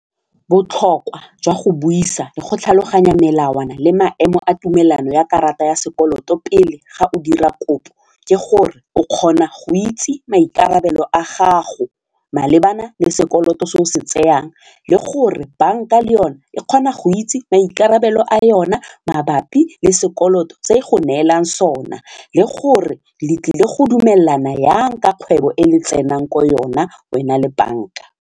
Botlhokwa jwa go buisa le go tlhaloganya melawana le maemo a tumelano ya karata ya sekoloto pele ga o dira kopo ke gore o kgona go itse maikarabelo a gago malebana le sekoloto se o se tsayang le gore bank-a le yone e kgona go itse maikarabelo a yona mabapi le sekoloto se e go neelang sona le gore le tlile go dumelana yang ka kgwebo e le tsenang ko yona wena le bank-a.